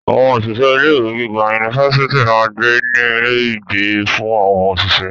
Àwọn òṣìṣẹ́ ilé ìwé giga yunifásítì máa ń gbé ní ilé ìgbé fún àwọn òṣìṣẹ́.